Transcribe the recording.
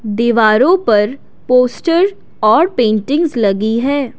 दीवारों पर पोस्टर्स और पेंटिंग्स लगी है।